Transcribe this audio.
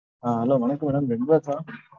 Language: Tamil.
ஆஹ் hello வணக்கம் madamredbus ஆஹ்